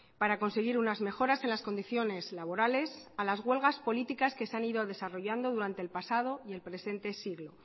para conseguir unas mejoras en las condiciones laborales a las huelgas políticas que se han ido desarrollando durante el pasado y el presente siglo